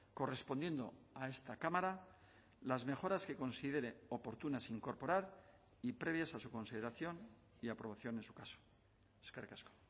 correspondiendo a esta cámara las mejoras que considere oportunas incorporar y previas a su consideración y aprobación en su caso eskerrik asko